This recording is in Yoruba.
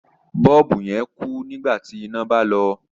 Bọ́ọ̀bù yẹn kú nígbà tí iná bá lọ.